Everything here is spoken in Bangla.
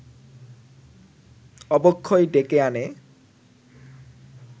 অবক্ষয় ডেকে আনে